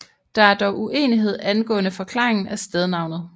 Der er dog uenighed angående forklaringen af stednavnet